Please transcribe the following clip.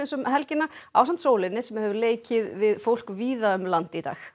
um helgina ásamt sólinni sem hefur leikið við fólk víða um land í dag